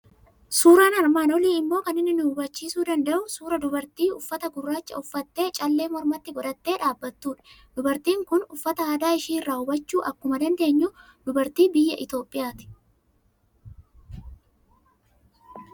Suuraan armaan olii immoo kan inni nu habachiisuu danda'u suuraa dubartii uffata gurraacha uffattee, callee mormatti godhattee dhaabattudha. Dubartiin kun uffata aadaa ishii irraa hubachuu akkuma dandeenyu dubartii biyya Itoophiyaati.